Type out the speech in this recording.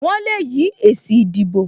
Wọn le yí èsì ìdìbò